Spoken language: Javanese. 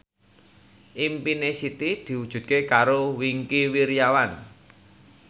impine Siti diwujudke karo Wingky Wiryawan